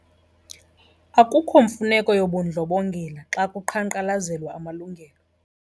Akukho mfuneko yobundlobongela xa kuqhankqalazelwa amalungelo.